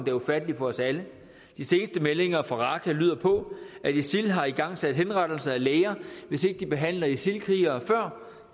er ufatteligt for os alle de seneste meldinger fra raqqa lyder på at isil har igangsat henrettelse af læger hvis ikke de behandler isil krigere før